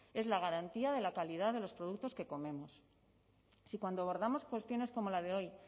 es la garantía de la calidad de los productos que comemos si cuando abordamos cuestiones como la de hoy